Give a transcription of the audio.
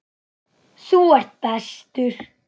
Þú ert bestur.